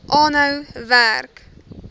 aanhou werk